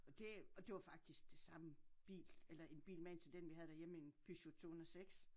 Og det og det var faktisk det samme bil eller en bil magen til den vi havde derhjemme en Peugot 206